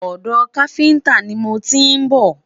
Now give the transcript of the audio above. odò kafinta ní mọ n tí n bó